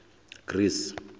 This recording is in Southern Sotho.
greece